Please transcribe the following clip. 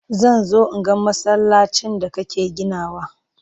Zan zo in ga masallacin da kake ginawa.